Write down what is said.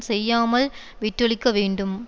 செய்யாமல் விட்டொழிக்க வேண்டும்